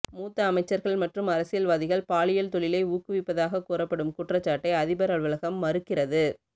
மூத்த அமைச்சர்கள் மற்றும் அரசியல்வாதிகள் பாலியல் தொழிலை ஊக்குவிப்பதாக கூறப்படும் குற்றச்சாட்டை அதிபர் அலுவலகம் மறுக்கிறது